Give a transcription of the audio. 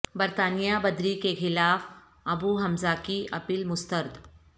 برطانیہ بدری کے خلاف ابو حمزہ کی اپیل مسترد